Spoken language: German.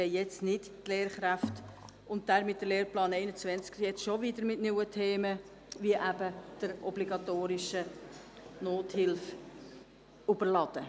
Wir wollen ihn und damit die Lehrkräfte nicht schon wieder mit neuen Themen überhäufen.